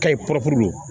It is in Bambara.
Kayi kɔrɔ don